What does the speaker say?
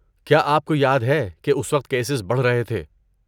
کیا آپ کو یاد ہے کہ اس وقت کیسز بڑھ رہے تھے؟